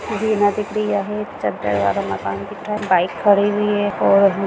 bike खड़ी हुई है और--